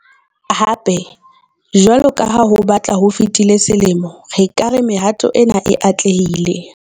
Hape, jwalo ka ha ho batla ho fetile selemo, re ka re mehato ena e atlehile.